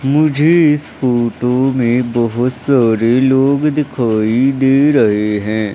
मुझे इस फोटो में बहोत सारे लोग दिखाई दे रहे हैं।